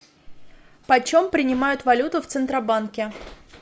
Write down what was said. почем принимают валюту в центробанке